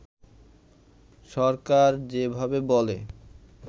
সরকার যেভাবে বলে